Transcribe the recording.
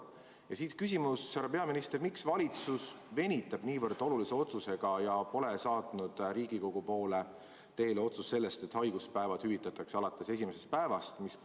Ja siit küsimus: härra peaminister, miks valitsus venitab nii olulise otsusega ja pole saatnud Riigikogu poole teele otsust, et haiguspäevad hüvitatakse alates esimesest päevast?